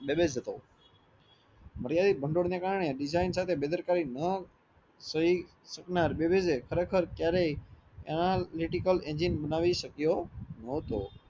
મર્યાદિક બાંદોડ ના કારણે design સાથે બેદરકારી ના થયી શકનાર ખરે ખર ક્યારેય ઘણા engine બનાવી શક્યો ન્હોતો